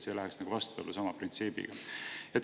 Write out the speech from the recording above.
See läheks meie printsiipidega vastuollu.